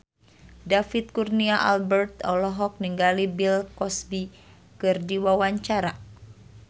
David Kurnia Albert olohok ningali Bill Cosby keur diwawancara